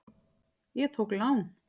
Ég tók lán.